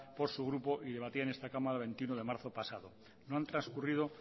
por su grupo y debatida en esta cámara el veintiuno de marzo pasado no han transcurrido